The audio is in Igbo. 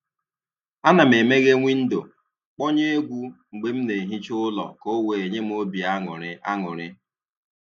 A na m e meghee windo, kpọnye egwu mgbe m na-ehicha ụlọ ka ọ wee nye m obi aṅụrị aṅụrị